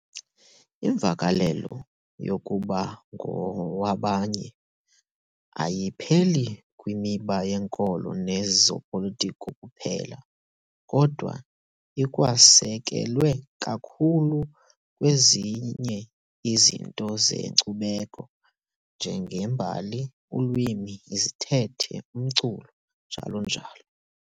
Imvakalelo yokuba ngowabanye ayipheleli kwimiba yenkolo nezopolitiko kuphela, kodwa ikwasekelwe kakhulu kwezinye izinto zenkcubeko, njengembali, ulwimi, izithethe, umculo, njl.